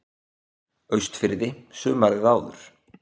Austurfirði sumarið áður.